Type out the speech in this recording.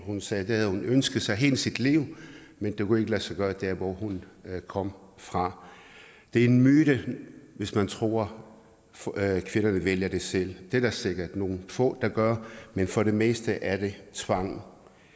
hun sagde at det havde hun ønsket sig hele sit liv men det kunne ikke lade sig gøre der hvor hun kom fra det er en myte hvis man tror at kvinderne vælger det selv det er der sikkert nogle få der gør men for det meste er det tvang